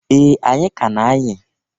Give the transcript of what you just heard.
Ee! Anyị ka a na-ayị.